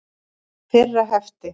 Fyrra hefti.